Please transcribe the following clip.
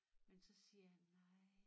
Men så siger han nej